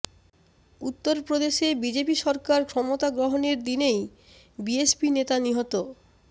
উত্তর প্রদেশে বিজেপি সরকার ক্ষমতা গ্রহণের দিনেই বিএসপি নেতা নিহত